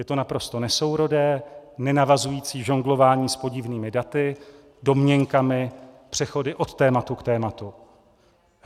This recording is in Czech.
Je to naprosto nesourodé, nenavazující žonglování s podivnými daty, domněnkami, přechody od tématu k tématu.